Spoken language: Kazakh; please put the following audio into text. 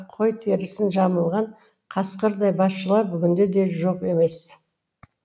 қой терісін жамылған қасқырдай басшылар бүгін де жоқ емес